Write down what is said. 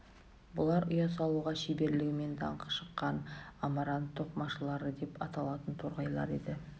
бұлар ұя салуға шеберлігімен даңқы шыққан амарант тоқымашылары деп аталатын торғайлар еді